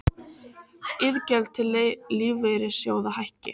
Iðgjöld til lífeyrissjóða hækki